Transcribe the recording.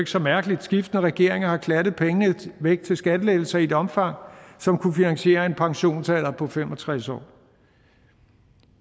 så mærkeligt skiftende regeringer har klattet pengene væk til skattelettelser i et omfang som kunne finansiere en pensionsalder på fem og tres år